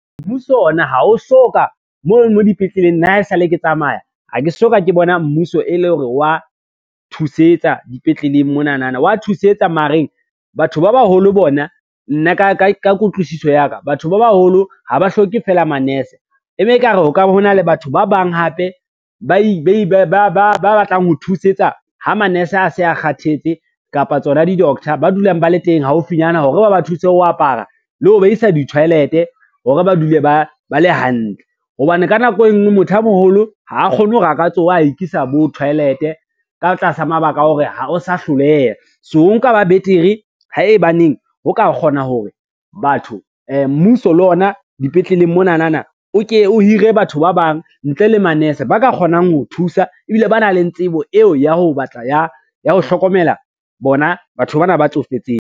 Mmuso ona ha o so ka mono dipetleleng nna ha e sa le ke tsamaya, ha ke so ka ke bona mmuso e le hore wa thusetsa dipetleleng monanana, wa thusetsa mare batho ba baholo bona nna ka kutlwisiso ya ka, batho ba baholo ha ba hloke fela manase e be e ka re ho ka hona le batho ba bang hape ba batlang ho thusetsa ho manese a se a kgathetse, kapa tsona di-doctor ba dulang ba le teng haufinyana hore ba ba thuse ho apara, le ho ba isa di-toilet, hore ba dule ba le hantle hobane ka nako e ngwe motho a moholo ha a kgone hore a ka tsoha ho ikisa bo toilet ka tlasa mabaka a hore o sa hloleha. So ho nka ba betere hebaneng ho ka kgona hore mmuso le ona dipetleleng monanana, o ke o hire batho ba bang ntle le manese ba ka kgonang ho thusa ebile ba nang le tsebo eo ya ho hlokomela bona batho ba na ba tsofetseng.